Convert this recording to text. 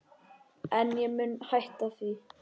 En ég mun hætta því.